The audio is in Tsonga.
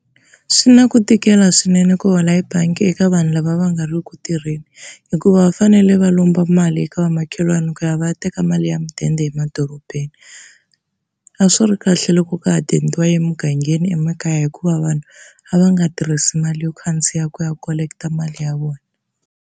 Swi na ku tikela swinene ku hola hi bangi eka vanhu lava va nga ri ku tirheni hikuva va fanele va lomba mali eka vamakhelwani ku ya va ya teka mali ya mudende emadorobeni. A swi ri kahle loko ka ha dendiwa emugangeni emakaya hikuva vanhu a va nga tirhisi mali yo khandziya ku ya collect mali ya vona.